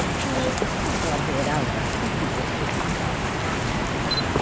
O que eu, sabe o que eu adorava, sempre gostei demais?